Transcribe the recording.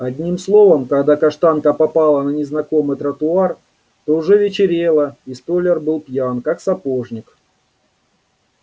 одним словом когда каштанка попала на незнакомый тротуар то уже вечерело и столяр был пьян как сапожник